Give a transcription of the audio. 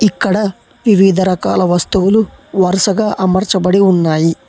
ఇక్కడ వివిధ రకాల వస్తువులు వరుసగా అమర్చబడి ఉన్నాయి.